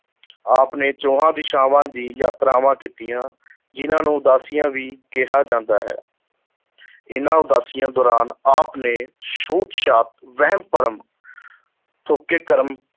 ਆਪ ਨੇ ਚੌਹਾਂ ਦਿਸ਼ਾਵਾਂ ਦੀ ਯਾਤਰਾਵਾਂ ਕੀਤੀਆਂ ਜਿਹਨਾਂ ਨੂੰ ਉਦਾਸੀਆਂ ਵੀ ਕਿਹਾ ਜਾਂਦਾ ਹੈ ਇਨ੍ਹਾਂ ਉਦਾਸੀਆਂ ਦੌਰਾਨ ਆਪ ਨੇ ਛੂਤ-ਛਾਤ, ਵਹਿਮ ਭਰਮ ਥੋਕੇ ਕਰਮ